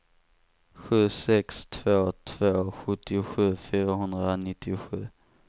sju sex två två sjuttiosju fyrahundranittiosju